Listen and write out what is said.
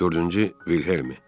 Dördüncü Wilhellmi.